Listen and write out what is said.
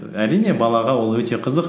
әрине балаға ол өте қызық